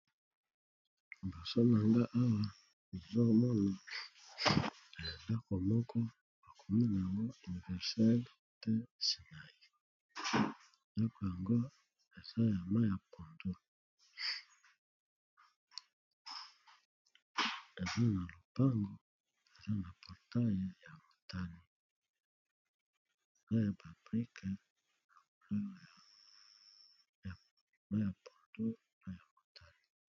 Liboso na nga awa zomona elendaka moko bakomi na yango universale te sinai nyako yango eza eza na lopango ea na aeyia ya babrique nama ya pontor mpe ya motani.